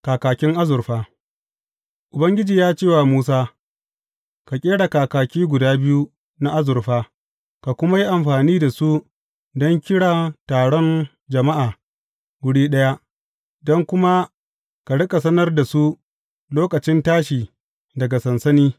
Kakakin azurfa Ubangiji ya ce wa Musa, Ka ƙera kakaki guda biyu na azurfa, ka kuma yi amfani da su don kira taron jama’a wuri ɗaya, don kuma ka riƙa sanar da su lokacin tashi daga sansani.